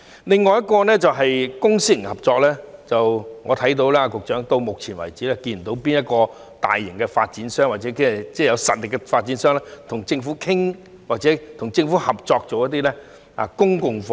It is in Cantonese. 另一點是公私營合作，直至目前為止，我看不到有哪間大型或有實力的發展商與政府商討或合作興建公共房屋。